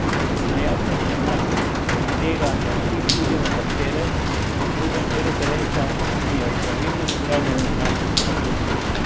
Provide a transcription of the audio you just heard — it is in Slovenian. Najjasnejši znak tega je osip tudi na katerem drugem delu telesa in je ob pravilnem zdravljenju lahko premagljiv.